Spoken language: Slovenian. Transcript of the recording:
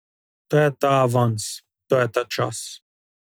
To je ta avans, to je ta čas.